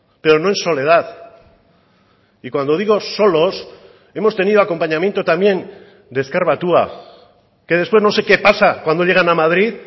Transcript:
pero no en soledad y cuando digo solos hemos tenido acompañamiento también de ezker batua que después no sé qué pasa cuando llegan a madrid